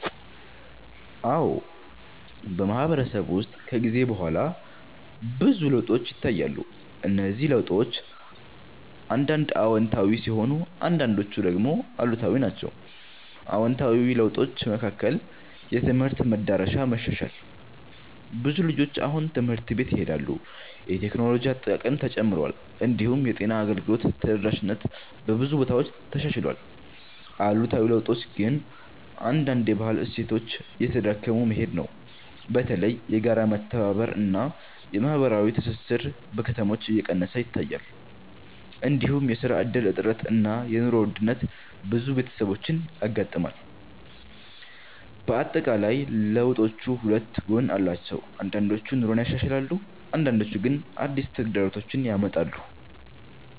አዎ፣ በማህበረሰብ ውስጥ ከጊዜ በኋላ ብዙ ለውጦች ይታያሉ። እነዚህ ለውጦች አንዳንድ አዎንታዊ ሲሆኑ አንዳንዶቹ ደግሞ አሉታዊ ናቸው። አዎንታዊ ለውጦች መካከል የትምህርት መዳረሻ መሻሻል ይገኛል። ብዙ ልጆች አሁን ትምህርት ቤት ይሄዳሉ፣ የቴክኖሎጂ አጠቃቀምም ተጨምሯል። እንዲሁም የጤና አገልግሎት ተደራሽነት በብዙ ቦታዎች ተሻሽሏል። አሉታዊ ለውጦች ግን አንዳንድ የባህል እሴቶች እየተዳከሙ መሄድ ነው። በተለይ የጋራ መተባበር እና የማህበራዊ ትስስር በከተሞች እየቀነሰ ይታያል። እንዲሁም የስራ እድል እጥረት እና የኑሮ ውድነት ብዙ ቤተሰቦችን ያጋጥማል። በአጠቃላይ ለውጦቹ ሁለት ጎን አላቸው፤ አንዳንዶቹ ኑሮን ያሻሽላሉ አንዳንዶቹ ግን አዲስ ተግዳሮቶች ያመጣሉ።